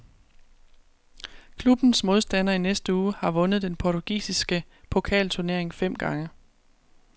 Klubbens modstander i næste uge har vundet den portugisiske pokalturnering fem gange.